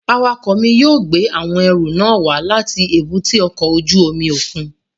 Awakọ mi yóò gbe awọn ẹru nàa wa lati èbúté ọkọ ojú omi okun